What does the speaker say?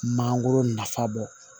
Mangoro nafa bɔ